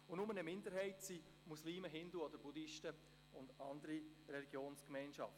Nur in der Minderheit sind Muslime, Hindu, Buddhisten oder andere Religionsgemeinschaften.